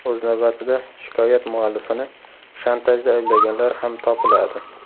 O‘z navbatida, shikoyat muallifini shantajda ayblaganlar ham topiladi.